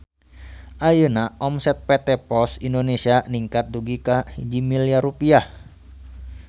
Ayeuna omset PT POS Indonesia ningkat dugi ka 1 miliar rupiah